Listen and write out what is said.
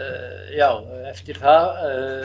já eftir það